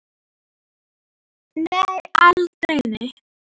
Nei, aldrei, nei!